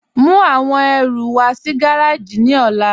Mú awọn ẹ̀rù wà sí gàràjì ni ọ̀là.